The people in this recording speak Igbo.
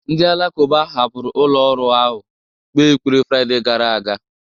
Ndị Alakụba hapụrụ ụlọ ọrụ ahụ kpee ekpere Fraịde gara aga